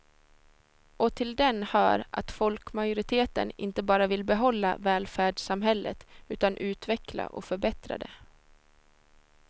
Och till den hör att folkmajoriteten inte bara vill behålla välfärdssamhället utan utveckla och förbättra det.